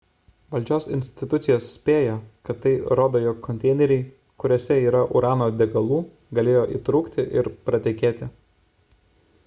valdžios institucijos spėja kad tai rodo jog konteineriai kuriuose yra urano degalų galėjo įtrūkti ir pratekėti